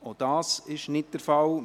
– Auch das ist nicht der Fall.